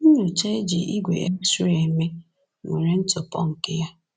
Nnyocha e ji ígwè X-ray eme nwere ntụpọ nke ya.